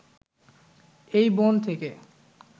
এই বন থেকে